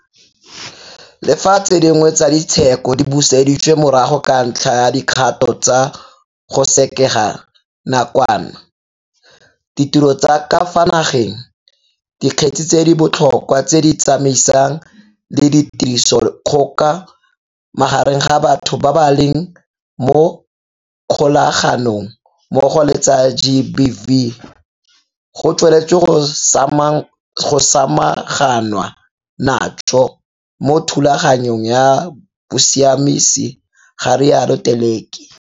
Le fa tse dingwe tsa di tsheko di buseditswe morago ka ntlha ya dikgato tsa go sekega nakwana ditiro tsa ka fa nageng, dikgetse tse di bo tlhokwa tse di tsamaisanang le tirisodikgoka magareng ga batho ba ba leng mo kgolaga nong mmogo le tsa GBV go tsweletswe go samaganwa natso mo thulaganyong ya bosiamisi, ga rialo Teleki.